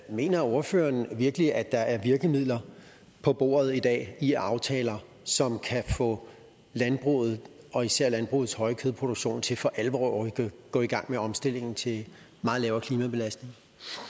mener ordføreren virkelig at der er virkemidler på bordet i dag i aftaler som kan få landbruget og især landbrugets høje kødproduktion til for alvor at gå i gang med omstillingen til meget lavere klimabelastning